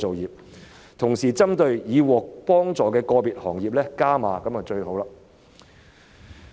如果同時加碼支援已獲得援助的個別行業，這樣就最好了。